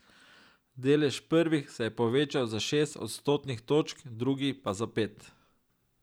Delež prvih se je povečal za šest odstotnih točk, drugih pa za pet.